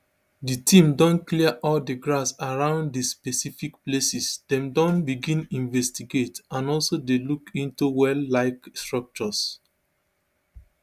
di team don clear all di grass around di specific places dem don begin investigate and also dey look into welllike structures